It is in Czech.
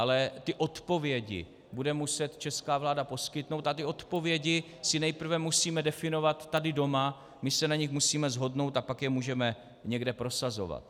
Ale ty odpovědi bude muset česká vláda poskytnout a ty odpovědi si nejprve musíme definovat tady doma, my se na nich musíme shodnout, a pak je můžeme někde prosazovat.